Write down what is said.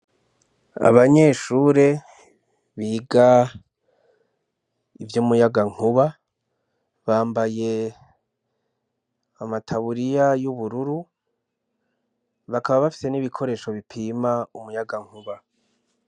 Abanyeshure biga ivyumuyagankuba bambaye amataburiye yubururu bakaba bafise n'ibikoresho bipima umuyangankuba.